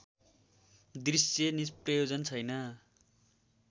दृश्य निष्प्रयोजन छैन